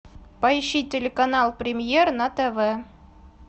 поищи телеканал премьер на тв